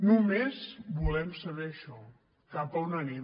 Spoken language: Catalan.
només volem saber això cap on anem